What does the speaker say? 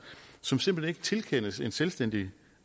som simpelt hen ikke tilkendes en selvstændig